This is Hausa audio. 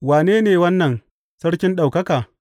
Wane ne wannan Sarkin ɗaukaka?